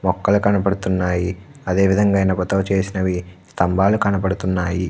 మొక్కలు కనపడుతున్నాయి అదే విధంగా ఇనుప తో చేసిన స్థంబాలు కనపడుతున్నాయి.